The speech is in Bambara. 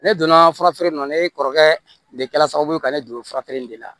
Ne donna furafeere in na ne kɔrɔkɛ de kɛra sababu ye ka ne don fura feere in de la